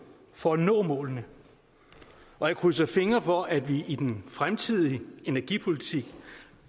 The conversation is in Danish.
for at nå målene og jeg krydser fingre for at vi i den fremtidige energipolitik